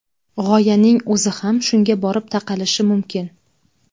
G‘oyaning o‘zi ham shunga borib taqalishi mumkin.